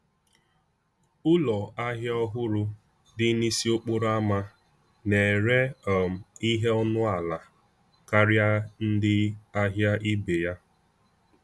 Ụlọ ahịa ọhụrụ dị n’isi okporo ama na-ere um ihe ọnụ ala karịa ndị ahịa ibe ya.